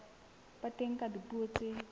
ba teng ka dipuo tse